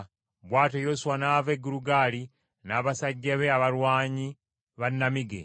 Bw’atyo Yoswa n’ava e Girugaali n’abasajja be abalwanyi ba nnamige.